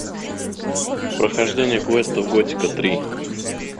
прохождение квестов готика три